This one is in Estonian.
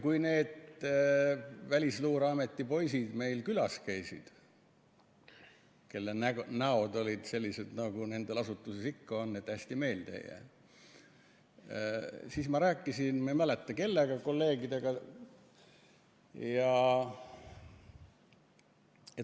Kui need Välisluureameti poisid meil külas käisid – nende näod olid sellised, nagu nende asutuses ikka on, et need hästi meelde ei jää –, siis ma rääkisin, ma ei mäleta, kellega kolleegidest.